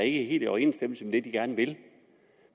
i overensstemmelse med det de gerne vil